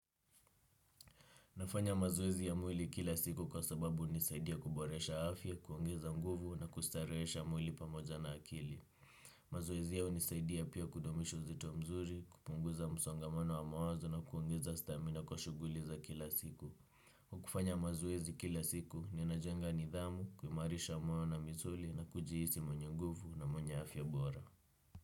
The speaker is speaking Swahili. Nafanya mazoezi ya mwili kila siku kwa sababu hunisaidia kuboresha afya, kuongeza nguvu na kustarehesha mwili pamoja na akili. Mazoezi hayo hunisaidia pia kudumisha uzito mzuri, kupunguza msongamano wa mawazo na kuongeza stamina kwa shughuli za kila siku. Kwa kufanya mazoezi kila siku, ninajenga nidhamu, kuimarisha moyo na misuli na kujihisi mwenye nguvu na mwenye afya bora.